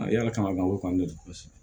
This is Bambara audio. yala kama o kɔni